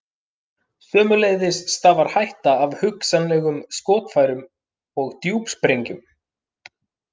Sömuleiðis stafar hætta af hugsanlegum skotfærum og djúpsprengjum.